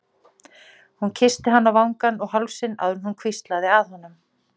Hún kyssti hann á vangann og hálsinn áður en hún hvíslaði að honum